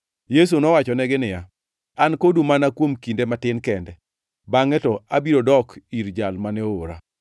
Yesu nowachonegi niya, “An kodu mana kuom kinde matin kende, bangʼe to abiro dok ir Jal mane oora.